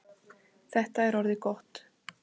Þetta er orðið gott.